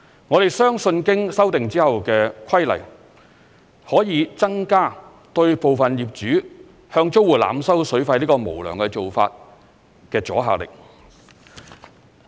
我們相信經修訂後的規例可以增加對部分業主向租戶濫收水費這無良做法的阻嚇力。